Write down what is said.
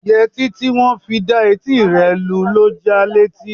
Yẹtí tí wọn fi dá etí rẹ lu ló ja létí.